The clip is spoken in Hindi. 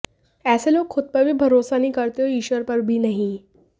ऐसे लोग खुद पर भी भरोसा नहीं करते और ईश्वर पर भी नहीं